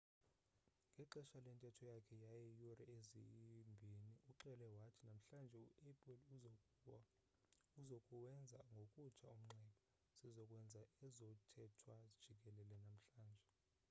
ngexesha lentetho yakhe yeeyure eziyi-2 uxele wathi namhlanje u-apple uzokuwenza ngokutsha umnxeba sizo kwenza ezothethwa jikelele namhlanje